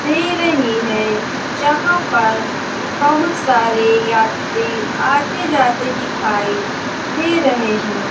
दे रही है यहां पर बहुत सारे यात्री आते जाते दिखाई दे रहे हैं।